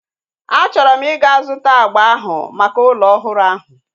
A chọrọ m ịga zụta agba ahu maka ụlọ ọhụrụ ahu